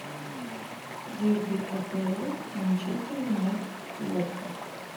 дерби апл манчестер юнайтед уотфорд